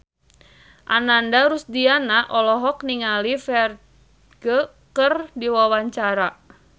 Ananda Rusdiana olohok ningali Ferdge keur diwawancara